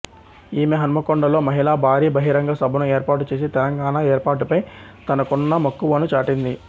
ఈమె హన్మకొండలో మహిళా భారీ బహిరంగ సభను ఏర్పాటు చేసి తెలంగాణ ఏర్పాటుపై తనకున్న మక్కువను చాటింది